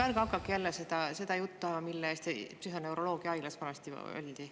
Ärge hakake jälle seda juttu ajama, mille eest psühhoneuroloogiahaiglas vanasti oldi.